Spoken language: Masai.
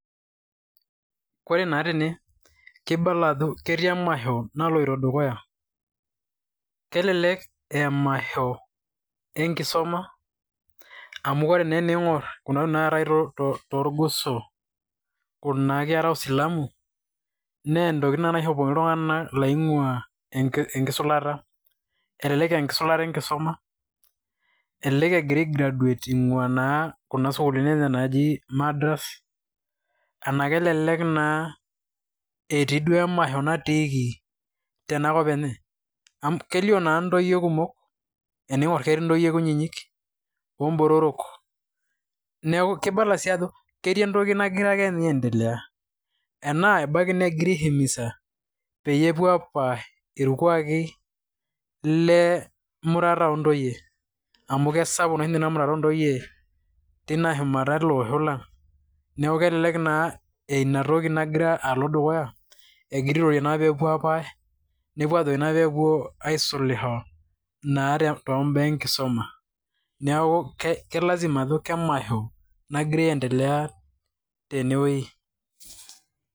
Koree naa tene , keibala ajo ketii emasho naloito dukuya. Kelelek aa emasho enkisuma, amu ore naa tening'or kuna tokin naatae torgoso kuna kera oisilamu naa ntokitin naa naishopokini iltung'ana laing'ua enkisulata. Elelek aa enkisulata enkisuma, elelek egira ai graduate angua kuna sukulini enye ejii Madrasa , enaa kelelek naa eti duo emasho natiiki tena kop enye. Amu kelio naa ntoyie kumok, tening'or ketii ntoyie kunyinyik, oo botorok. Neeku kibala sii ajo ketii entoki nagira ake ninye aendelea. Ena ebaki negira aii himiza peyie upuo apash irkuaki lemurata ontoyie amu kesapuk ninye amurata ontoyie tena shumata ele osho lang. Neeku ebaki naa ina toki nagira alo dukuya, egira naa airorie peepuo apash, nepuo ajoki peepuo naa aisulisho naa too baa enkisuma. Neeku ke lazima ajo emasho nagira endelea teneweji.